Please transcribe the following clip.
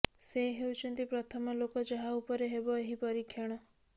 ସେ ହେଉଛନ୍ତି ପ୍ରଥମ ଲୋକ ଯାହା ଉପରେ ହେବ ଏହି ପରୀକ୍ଷଣ